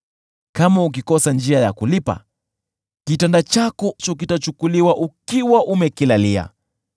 Kama ukikosa njia ya kulipa, kitanda chako kitachukuliwa ukiwa umekilalia.